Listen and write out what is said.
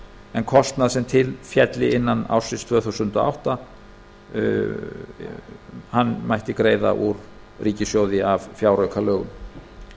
en kostnað sem til félli innan ársins tvö þúsund og átta mætti greiða úr ríkissjóði af fjáraukalögum